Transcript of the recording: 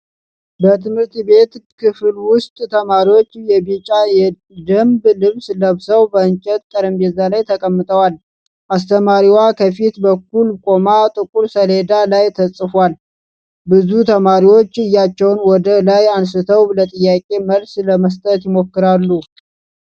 በትምህርት ቤት ክፍል ውስጥ፣ ተማሪዎች የቢጫ የደንብ ልብስ ለብሰው በእንጨት ጠረጴዛ ላይ ተቀምጠዋል። አስተማሪዋ ከፊት በኩል ቆማ ጥቁር ሰሌዳ ላይ ተጽፏል። ብዙ ተማሪዎች እጃቸውን ወደ ላይ አንስተው ለጥያቄዎች መልስ ለመስጠት ይሞክራሉ።